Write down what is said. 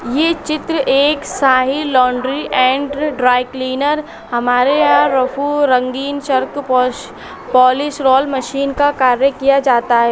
ये चित्र एक साही लांड्री एंड ड्राइकिलीनर्स हमारे यहाँ रफू रंगीन चरक पोलिश रोल मशीन का कार्य किया जाता हैं।